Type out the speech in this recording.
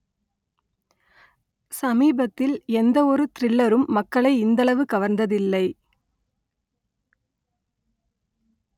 சமீபத்தில் எந்த ஒரு த்‌ரில்லரும் மக்களை இந்தளவு கவர்ந்ததில்லை